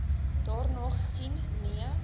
daarna gesien nee